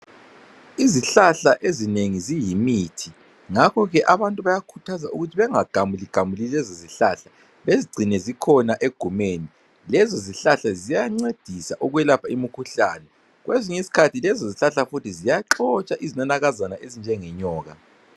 Izihlahla ezinengi ziyimithi ngakho ke abantu bayakhuthazwa ukuthi bengagamuligamuli lezizihlahla bezigcine zikhona egumeni lezizihlahla ziyancedisa ukwelapha imikhuhlane kwesinye isikhathi lezo zihlahla futhi ziyaxotsha izinanakazana ezinjenge nyoka.